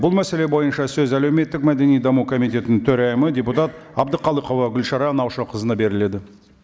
бұл мәселе бойынша сөз әлеуметтік мәдени даму комитетінің төрайымы депутат әбдіқалықова гүлшара наушақызына беріледі